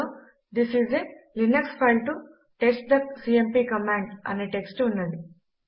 అందులో this is a Linux file to test the CMP command అనే text ఉన్నది